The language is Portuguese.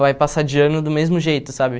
vai passar de ano do mesmo jeito, sabe?